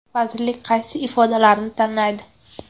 Vazirlik kaysi ifodalarni tanlaydi?